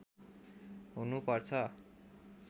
हुनु पर्छ